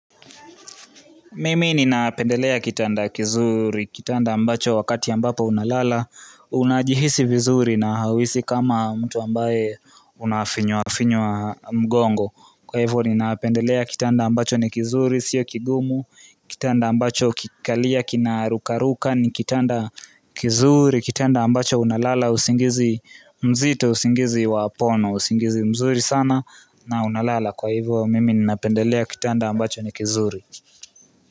Mimi ni napendelea kitanda kizuri, kitanda ambacho wakati ambapo unalala, unajihisi vizuri na hauisi kama mtu ambaye unafinywa-finywa mgongo. Kwa hivyo ni napendelea kitanda ambacho ni kizuri, sio kigumu, kitanda ambacho ukikalia, kina rukaruka, ni kitanda kizuri, kitanda ambacho unalala, usingizi mzito, usingizi wapono, usingizi mzuri sana, na unalala. Kwa hivyo mimi ni napendelea kitanda ambacho ni kizuri.